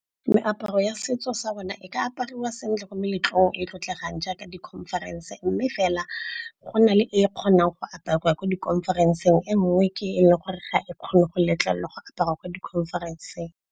Meaparo ya setso sa bona e ka apariwa sentle ko meletlong e e tlotlegang jaaka di-conference. Mme fela go na le e kgonang go apariwa kwa ko di-conference-eng, e nngwe ke e leng gore ga e kgone go letlelwa go apariwa ko di-conference-eng.